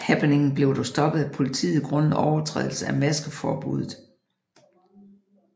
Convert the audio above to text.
Happeningen blev dog stoppet af politiet grundet overtrædelse af maskeforbuddet